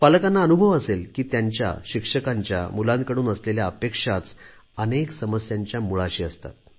पालकांना अनुभव असेल की त्यांच्या तसेच शिक्षकांच्या मुलांकडून असलेल्या अपेक्षाच अनेक समस्यांच्या मूळाशी असतात